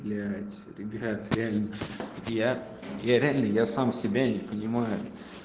блять ребят реально я я реально я сам себя не понимаю